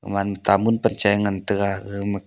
homan tamul panchae ngan taiga gaga ma.